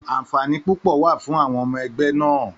Àǹfààní púpọ̀ wà fún àwọn ọmọ ẹgbẹ́ náà.